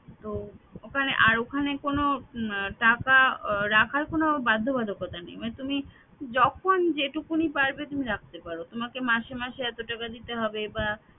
তো ওখানে আর ওখানে কোনো উম টাকা রাখার কোন বাধ্যবাধকতা নেই মানে তুমিই যখন যেটুকুনই পারবে তুমি রাখতে পার তোমাকে মাসে মাসে এত টাকা দিতে হবে বা